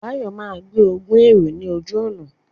Báyọ̀ máa gbé ogún èrò ní ojú ọ̀nà